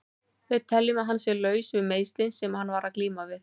Við teljum að hann sé laus við meiðslin sem hann var að glíma við.